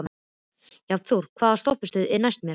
Jónþór, hvaða stoppistöð er næst mér?